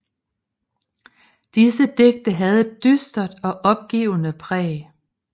Disse digte havde et dystert og opgivende præg